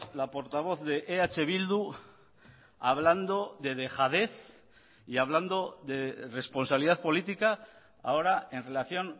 la portavoz de eh bildu hablando de dejadez y hablando de responsabilidad política ahora en relación